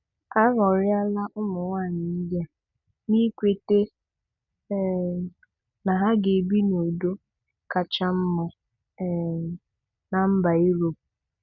Aghoriala ụmụ nwaanyị ndị a, n'ikwete um na ha ga-ebi ndụ kacha mma um na mba Europe.